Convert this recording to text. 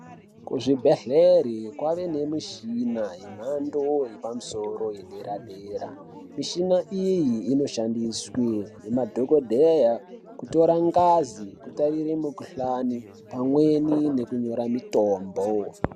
Kuzvibhedhleri kwaane nemishina yemhando yepamusoro edera dera mushina iyi inoshandiswe nemadhokodheya kutora ngazi kutarire mukhuhlani pamweni nekunyora mutombo.